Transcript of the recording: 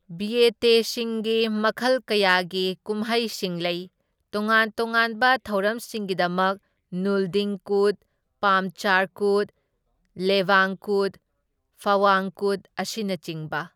ꯕꯤꯌꯦꯇꯦꯁꯤꯡꯒꯤ ꯃꯈꯜ ꯀꯌꯥꯒꯤ ꯀꯨꯝꯍꯩꯁꯤꯡ ꯂꯩ, ꯇꯣꯉꯥꯟ ꯇꯣꯉꯥꯟꯕ ꯊꯧꯔꯝꯁꯤꯡꯒꯤꯗꯃꯛ ꯅꯨꯜꯗꯤꯡ ꯀꯨꯠ, ꯄꯥꯝꯆꯥꯔ ꯀꯨꯠ, ꯂꯦꯕꯥꯡ ꯀꯨꯠ, ꯐꯥꯋꯥꯡ ꯀꯨꯠ, ꯑꯁꯤꯅꯆꯤꯡꯕ꯫